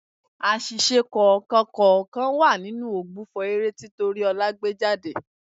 Àṣìṣe kọ̀ọ̀kan kọ̀ọ̀kan wà níbi ògbufọ̀ eré tí Tóríọlá gbé jáde.